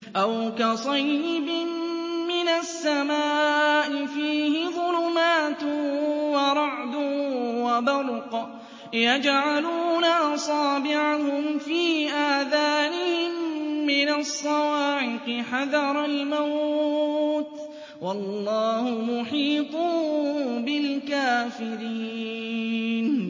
أَوْ كَصَيِّبٍ مِّنَ السَّمَاءِ فِيهِ ظُلُمَاتٌ وَرَعْدٌ وَبَرْقٌ يَجْعَلُونَ أَصَابِعَهُمْ فِي آذَانِهِم مِّنَ الصَّوَاعِقِ حَذَرَ الْمَوْتِ ۚ وَاللَّهُ مُحِيطٌ بِالْكَافِرِينَ